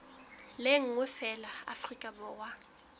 le nngwe feela afrika borwa